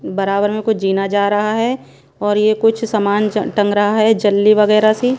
बराबर में कुछ जीना जा रहा हैं और ये कुछ सामान जन टंग रहा हैं जल्ली वगैरह सी--